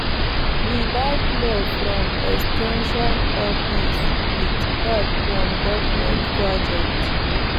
we buy plow from ex ten sion office with help from government program